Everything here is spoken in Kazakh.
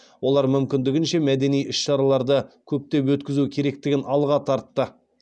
олар мүмкіндігінше мәдени іс шараларды көптеп өткізу керектігін алға тартты